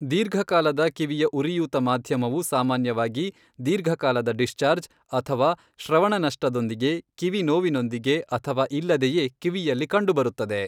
ದೀರ್ಘಕಾಲದ ಕಿವಿಯ ಉರಿಯೂತ ಮಾಧ್ಯಮವು ಸಾಮಾನ್ಯವಾಗಿ ದೀರ್ಘಕಾಲದ ಡಿಸ್ಚಾರ್ಜ್ , ಅಥವಾ ಶ್ರವಣ ನಷ್ಟದೊಂದಿಗೆ, ಕಿವಿ ನೋವಿನೊಂದಿಗೆ ಅಥವಾ ಇಲ್ಲದೆಯೇ ಕಿವಿಯಲ್ಲಿ ಕಂಡುಬರುತ್ತದೆ.